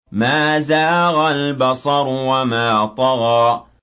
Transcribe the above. مَا زَاغَ الْبَصَرُ وَمَا طَغَىٰ